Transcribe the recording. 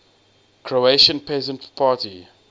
croatian peasant party